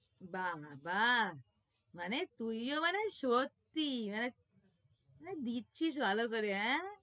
বাহ্ বাহ্, মানে তুইও মানে সত্যি, ধ্যাৎ মানে দিচ্ছিস ভালো করে হ্যাঁ?